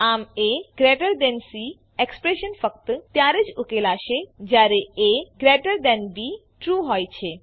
આમ AC expression ફક્ત ત્યારે જ ઉકેલાશે જયારે અબ ટ્રૂ હોય છે